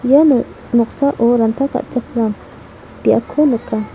uano noksao ranta ka·chakram biapko nika.